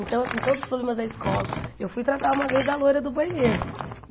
Então, assim, todos os problemas da escola, eu fui tratar uma vez da loira do banheiro.